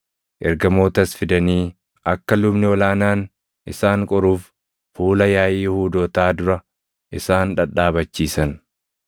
Ergamootas fidanii, akka lubni ol aanaan isaan qoruuf fuula yaaʼii Yihuudootaa dura isaan dhadhaabachiisan.